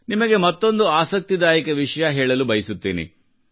ನಿಮಗೆ ಮತ್ತೊಂದು ಆಸಕ್ತಿದಾಯಕ ವಿಷಯ ಹೇಳಲು ಬಯಸುತ್ತೇನೆ